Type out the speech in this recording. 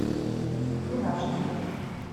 скин аш ди